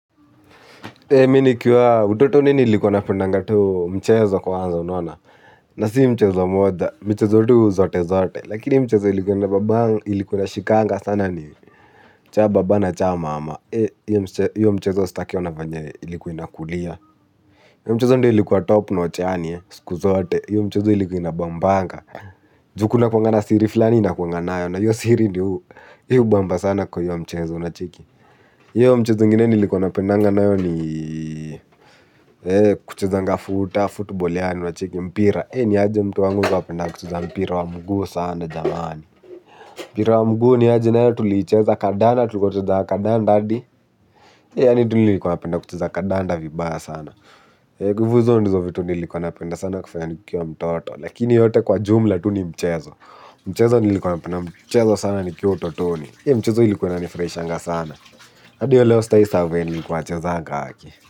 Mi nikiwa, utotoni niilikuwa napendanga tu mchezo kwanza unaona, na si mchezo moja, michezo tu zote zote, lakini mchezo ilikuwa inashikanga sana ni cha baba na cha mama, hhio mchezo staki ona venye ilikuwa inakulia, hio mchezo ndio ilikuwa top notch yani siku zote, hio mchezo ilikuwa inabambanga, juu kunakuanga na siri flani inakuanga nayo, na hio siri ndio hiubamba sana kwa hio mchezo unacheki, hio mchezo ingine nilikuwa napendanga nayo ni kuchezanga futa, footboal yani unacheki mpira. Niaje mtu wangu ulikuwa upenda kucheza mpira wa mguu sana jamani. Mpira wa mguu niaje nayo tuliicheza kadana tulikuwa tunacheza kandanda adi yani tu nilikuwa napenda kucheza kadanda vibaya sana ivo izo ndizo vitu nilikuwa napenda sana kufanya nikiwa mtoto lakini yote kwa jumla tu ni mchezo. Mchezo nilikuwa napenda mchezo sana nikiwa utotoni. Mchezo ilikuwa inanifuraishanga sana. Adi wa leo sitai sahau venye nilikuwa nachezanga haki.